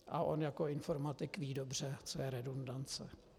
A on jako informatik ví dobře, co je redundance.